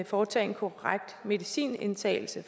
foretage en korrekt medicinindtagelse